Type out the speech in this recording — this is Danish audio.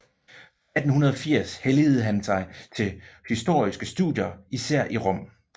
Fra 1880 helligede han sig til historiske studier især i Rom